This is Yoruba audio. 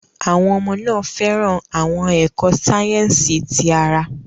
Àwọn ọmọ náà fẹ́ràn àwọn ẹ̀kọ́ sáyẹ́sì ti ara.